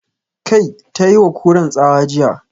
"Kai"! Ta yi wa Kuran tsawa jiya